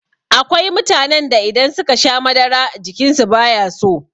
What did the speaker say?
Akwai mutanen da in suka sha madara jikinsu bayaso.